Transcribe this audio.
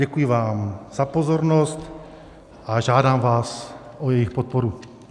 Děkuji vám za pozornost a žádám vás o jejich podporu.